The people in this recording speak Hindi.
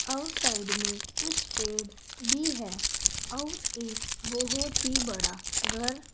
आउट साइड में कुछ पेड़ भी है और एक बहोत ही बड़ा घर--